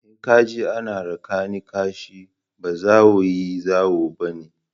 In ka ji ana raka ni kashi, ba zawayi/zawo ba ne.